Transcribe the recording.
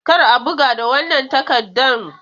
Kar a buga da wannan takardan!